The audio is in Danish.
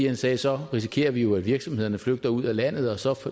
han sagde at så risikerer man jo at virksomhederne flygter ud af landet og så